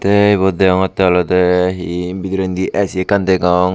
te ebot deongte olode he bedireni Ac ekan degong.